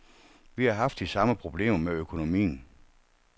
Vi har haft de samme problemer med økonomien.